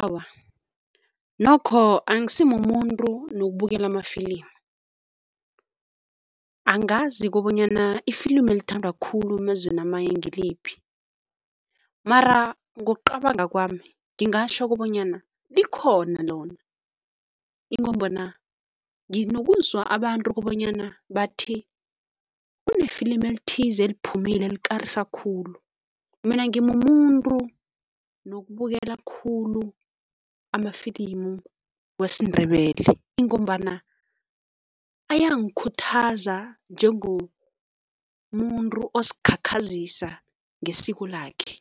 Awa, nokho angisimumuntu nokubukela amafilimu. Angazi kobanyana ifilimu elithandwa khulu emazweni amanye ngiliphi mara ngokucabanga kwami ngingatjho kobanyana likhona lona ingombana nginokuzwa abantu kobanyana bathi kunefilimu elithize, eliphumile elikarisa khulu. Mina ngimumuntu nokubukela khulu amafilimu wesiNdebele ingombana ayangikhuthaza njengoba umuntu ozikhakhazisa ngesiko lakhe.